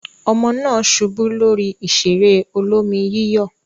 Ọmọ náà ṣubú lórí ìṣeré olómi-yíyọ̀.